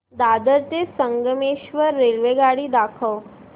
दादर ते संगमेश्वर रेल्वेगाडी दाखव